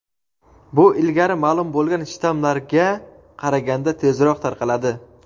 bu ilgari ma’lum bo‘lgan shtammlarga qaraganda tezroq tarqaladi.